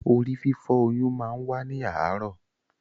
Orí-fífọ́ oyún máa n wa ni aarọ.